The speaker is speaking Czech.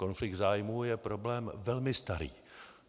Konflikt zájmů je problém velmi starý.